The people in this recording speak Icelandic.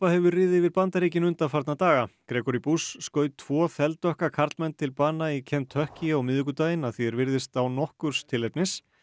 hefur riðið yfir Bandaríkin undanfarna daga Gregory skaut tvo þeldökka karlmenn til bana í Kentucky á miðvikudaginn að því er virðist án nokkurs tilefnis